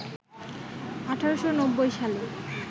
১৮৯০ সালে